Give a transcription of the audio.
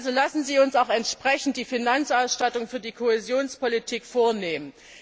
Also lassen Sie uns eine entsprechende Finanzausstattung für die Kohäsionspolitik vorsehen.